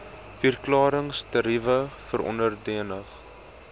verklarings tariewe verordeninge